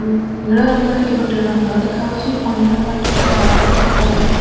ନୀଳ ରଙ୍ଗର ଏକ ଟିଣ ଘର ଦେଖାଯାଉଛି ଅନ୍ୟପଟେ ଏକ ଧଳା ରଙ୍ଗର ଏକ ଘର ଦେଖା।